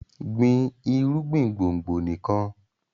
gbìn irúgbìn gbòngbò nikan!